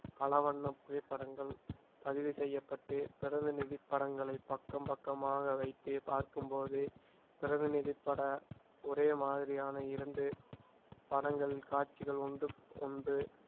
பல வண்ண புகைப்படங்கள் பதிவு செய்யப்பட்டு பிரதிநிதி படங்களை பக்கம் பக்கமாக வைத்து பார்க்கும் போது பிரதிநிதிப்பட ஒரே மாதிரியான இரண்டு படங்கள் காட்சிகள் ஒன்றுக்கொன்று